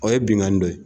O ye binkanni dɔ ye